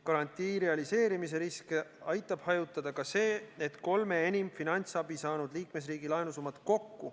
Garantii realiseerimise riske aitab hajutada ka see, et kolme enim finantsabi saanud liikmesriigi laenusummad kokku